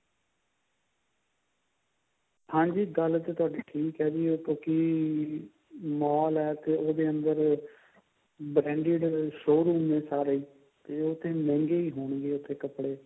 ਹਾਂਜੀ ਗੱਲ ਤਾਂ ਤੁਹਾਡੀ ਠੀਕ ਹੈ ਜੀ ਉਹ ਕਿਉਂਕਿ mall ਹੈ ਤੇ ਉਹਦੇ ਅੰਦਰ branded showroom ਨੇ ਸਾਰੇ ਤੇ ਉੱਥੇ ਮਹਿੰਗੇ ਹੀ ਹੋਣਗੇ ਉੱਥੇ ਕੱਪੜੇ